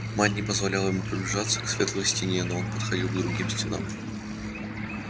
мать не позволяла ему приближаться к светлой стене но он подходил к другим стенам